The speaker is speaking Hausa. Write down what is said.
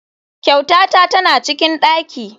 Kyautata tana cikin daki.